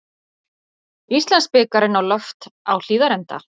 Íslandsbikarinn á loft á Hlíðarenda